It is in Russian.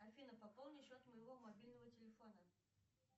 афина пополни счет моего мобильного телефона